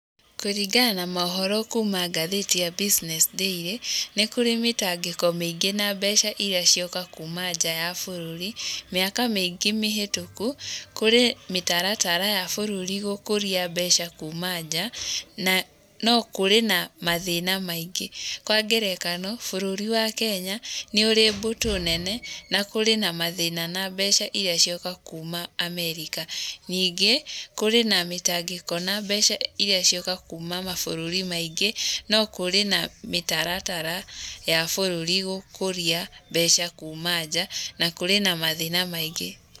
Kũringana na maũhoro kuuma ngathĩti ya Business Daily, nĩ kũrĩ mĩtangĩko mĩingĩ na mbeca irĩa cioka kuuma nja ya bũrũri. Mĩaka mĩingĩ mĩhĩtũku, kũrĩ mĩtaratara ya bũrũri gũkũria mbeca kuuma nja, na no kũrĩ na mathĩna maingĩ. Kwa ngerekano bũrũri wa Kenya nĩ ũrĩ mbũtũ nene, na kũrĩ na mathĩna na mbeca irĩa cioka kuuma Amerika. Ningĩ, kũrĩ na mĩtangĩko na mbeca irĩa cioka kuuma mabũrũri maingĩ , no kũrĩ na mĩtaratara ya bũrũri gũkũria mbeca kuuma nja na kũrĩ na mathĩna maingĩ.